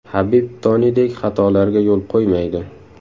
Habib Tonidek xatolarga yo‘l qo‘ymaydi.